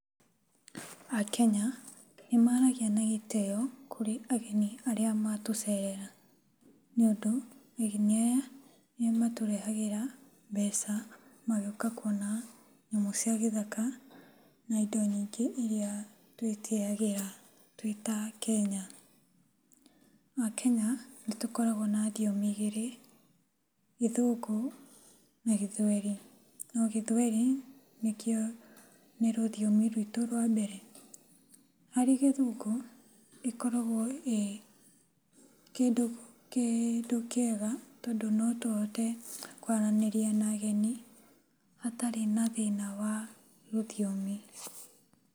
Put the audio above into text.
Akenya nĩmaragia na gĩtĩo kũrĩ ageni arĩa matũcerera. Nĩũndũ ageni aya nĩmatũrehagĩra mbeca magĩũka kuona nyamũ cia gĩthaka na indo ingĩ nyingĩ iria twĩtĩyagĩra twĩ ta Akenya. Akenya nĩtũkoragwo na thiomi igĩrĩ gĩthũngũ na gĩthweri, no gĩthweri nĩ rũthiomi rwito rwa mbere. Harĩ gĩthũngũ ĩkoragwo ĩ kĩndũ kĩega, tondũ no tũhote kwaranĩria na ageni hatarĩ na thĩna wa rũthiomi.